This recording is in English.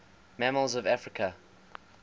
mammals of africa